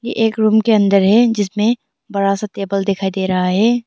एक रूम के अंदर है जिसमें बड़ा सा टेबल दिखाई दे रहा है।